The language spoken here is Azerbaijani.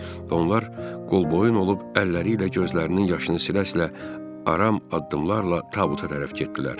Və onlar qol-boyun olub əlləri ilə gözlərinin yaşını silə-silə aram addımlarla tabuta tərəf getdilər.